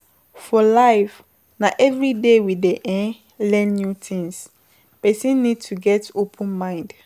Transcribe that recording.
For life na everyday we dey um learn new tings, person need to get open mind